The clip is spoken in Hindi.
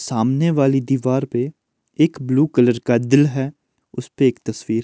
सामने वाली दीवार पे एक ब्लू कलर का दिल है उस पे एक तस्वीर।